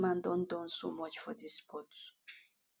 dis man don Accepted so much for dis sport